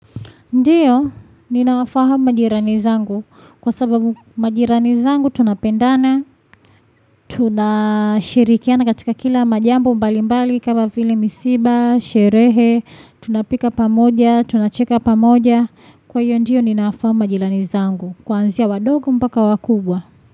Ndiyo, ninawafahamu majirani zangu. Kwa sababu majirani zangu tunapendana, tunashirikiana katika kila majambo mbali mbali kama vile misiba, sherehe, tunapika pamoja, tunacheka pamoja. Kwa hiyo ndiyo ninawafahamu majirani zangu. Kwanzia wadogo mpaka wakubwa.